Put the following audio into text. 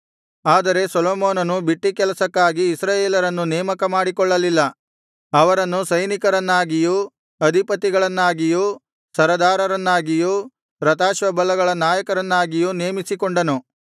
ಆದರೆ ಸೊಲೊಮೋನನು ಬಿಟ್ಟಿ ಕೆಲಸಕ್ಕಾಗಿ ಇಸ್ರಾಯೇಲರನ್ನು ನೇಮಕ ಮಾಡಿಕೊಳ್ಳಲಿಲ್ಲ ಅವರನ್ನು ಸೈನಿಕರನ್ನಾಗಿಯೂ ಅಧಿಪತಿಗಳನ್ನಾಗಿಯೂ ಸರದಾರರನ್ನಾಗಿಯೂ ರಥಾಶ್ವಬಲಗಳ ನಾಯಕರನ್ನಾಗಿಯೂ ನೇಮಿಸಿಕೊಂಡನು